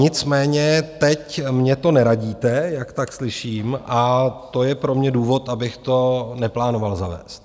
Nicméně teď mně to neradíte, jak tak slyším, a to je pro mě důvod, abych to neplánoval zavést.